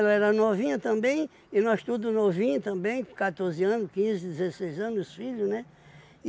Ela era novinha também, e nós tudo novinho também, com quatorze anos, quinze, dezesseis anos, os filhos, né?